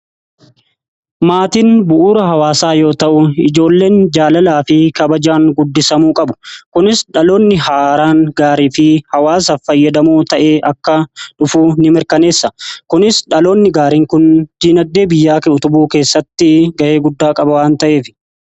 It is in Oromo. Maatin bu'uura hawaasaa yoo ta'u ijoolleen jaalalaa fi kabajaan guddisamuu qabu. Kunis dhaloonni haaraan gaarii fi hawaasaaf fayyadamoo ta'ee akka dhufuu in mirkaneessa. Kunis dhaloonni gaariin kun diinagdee biyyaa utubuu keessatti ga'ee guddaa qaba waan ta'eef.